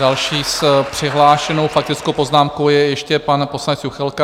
Další s přihlášenou faktickou poznámkou je ještě pan poslanec Juchelka.